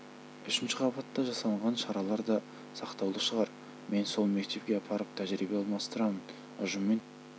үшінші қабатта жасалынған шаралар да сақтаулы шығар мен сол мектепке апарып тәжірибе алмастырамын ұжымымен танысасыңдар істеген